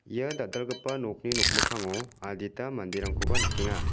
ia dal·dalgipa nokni nokmikkango adita manderangkoba nikenga.